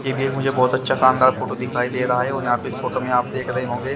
ये व्यू मुझे बहोत अच्छा शानदार फोटो दिखाई दे रहा है और यहां पे इस फोटो में आप देख रहे होंगे।